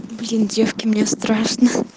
блин девки мне страшно